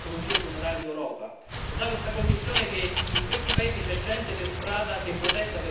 Lo sa questa Commissione che in questi paesi c'è gente per strada che protesta perché il petrolio non lo vuole?